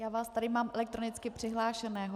Já vás tady mám elektronicky přihlášeného.